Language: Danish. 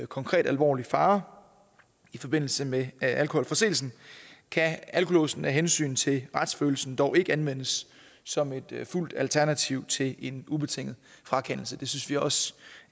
konkret alvorlig fare i forbindelse med alkoholforseelsen kan alkolåsen af hensyn til retsfølelsen dog ikke anvendes som et fuldt alternativ til en ubetinget frakendelse det synes vi også